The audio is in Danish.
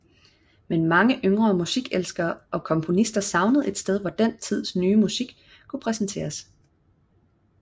Men mange yngre musikelskere og komponister savnede et sted hvor den nye tids musik kunne præsenteres